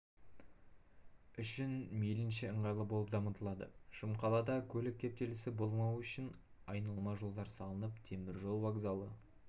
үшін мейлінше ыңғайлы болып дамытылады шымқалада көлік кептелісі болмауы үшін айналма жолдар салынып теміржол вокзалы